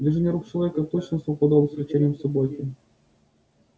движения рук человека точно совпадали с рычанием собаки